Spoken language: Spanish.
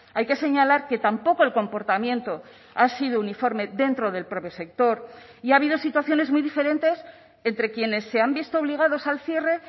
hay que señalar que tampoco el comportamiento ha sido uniforme dentro del propio sector y ha habido situaciones muy diferentes entre quienes se han visto obligados al cierre